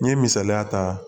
N ye misaliya ta